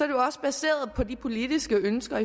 jo også baseret på de politiske ønsker